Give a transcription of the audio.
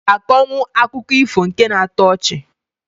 I ga akọnwụ akụkọ ifo nke na-atọ ọchị?